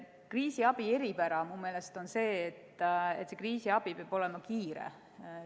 Kriisiabi eripära on minu meelest see, et kriisiabi peab olema kiire.